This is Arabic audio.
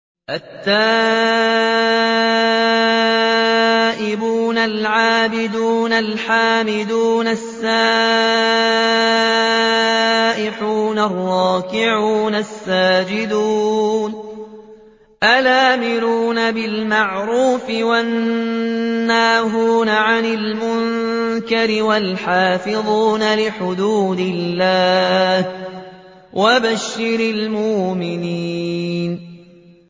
التَّائِبُونَ الْعَابِدُونَ الْحَامِدُونَ السَّائِحُونَ الرَّاكِعُونَ السَّاجِدُونَ الْآمِرُونَ بِالْمَعْرُوفِ وَالنَّاهُونَ عَنِ الْمُنكَرِ وَالْحَافِظُونَ لِحُدُودِ اللَّهِ ۗ وَبَشِّرِ الْمُؤْمِنِينَ